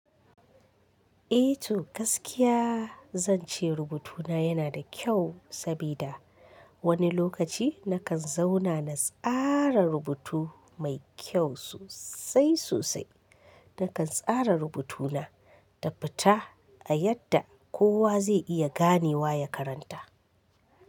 Eh to gaskiya zan ce rubutuna yana da kyau sabida wani lokaci nakan zauna na tsara rubutu mai kyau sosai sosai. Nakan tsara rubutuna, tabbata a yadda kowa zai iya ganewa ya karanta.